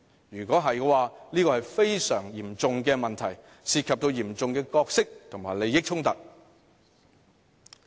如果有，這是非常嚴重的問題，涉及嚴重的角色及利益衝突。